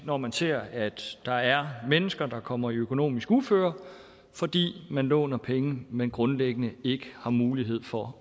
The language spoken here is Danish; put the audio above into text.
når man ser at der er mennesker der kommer i økonomisk uføre fordi man låner penge man grundlæggende ikke har mulighed for